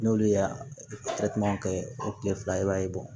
N'olu ye kɛ o kile fila i b'a ye